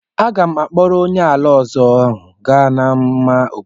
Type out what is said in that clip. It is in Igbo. M ga-akpọrọ onye ala ọzọ ahụ gaa n'ámá obodo.